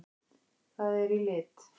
Það er í lit!